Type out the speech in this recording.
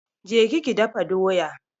Ki je ki dafa doya!